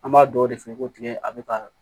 An b'a dɔw de feere ko tigɛ a bɛ ka